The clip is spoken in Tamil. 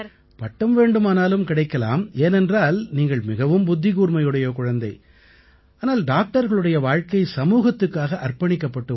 பட்டம் வேண்டுமானால் கிடைக்கலாம் ஏனென்றால் நீங்கள் மிகவும் புத்திக்கூர்மையுடைய குழந்தை ஆனால் டாக்டர்களுடைய வாழ்க்கை சமூகத்துக்காக அர்ப்பணிக்கப்பட்ட ஒன்று